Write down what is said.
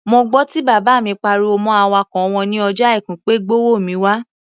Mo gbọ́ tí bàbá mi pariwo mọ́ awakọ̀ wọn ní ọjọ́ Àìkú pé "gbówó mi wá!"